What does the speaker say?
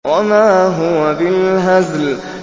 وَمَا هُوَ بِالْهَزْلِ